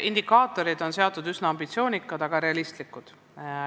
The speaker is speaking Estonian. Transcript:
Indikaatorid on üsna ambitsioonikad, aga realistlikud.